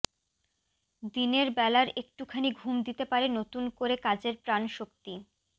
দিনের বেলার একুটখানি ঘুম দিতে পারে নতুন করে কাজের প্রাণশক্তি